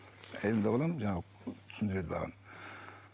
әйелімді алып аламын жаңағы түсіндіреді маған